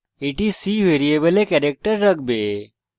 এটি c ভ্যারিয়েবলে character রাখবে